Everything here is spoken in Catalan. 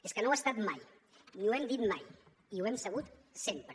és que no ho ha estat mai ni ho hem dit mai i ho hem sabut sempre